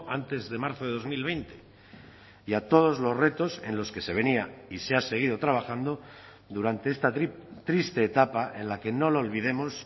antes de marzo de dos mil veinte y a todos los retos en los que se venía y se ha seguido trabajando durante esta triste etapa en la que no lo olvidemos